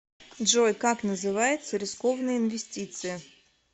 джой как называются рискованные инвестиции